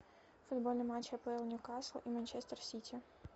футбольный матч апл ньюкасл и манчестер сити